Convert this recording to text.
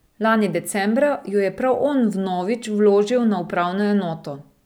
Lani decembra jo je prav on vnovič vložil na upravno enoto.